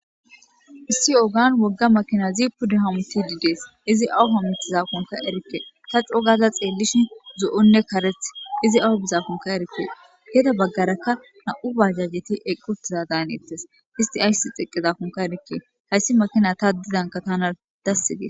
issi oogan wogga makina zipudi hamuti didees izi awu homutizakonka erikke ta cogaza xeellishi zo7onne kareth izi awu bizakonka erikke geda baggarakka na7u baajajeti eqqutiza daan ittes isti ayssi xeqqezakonka erikke hayssi makina ta ddidanka tana dasse gee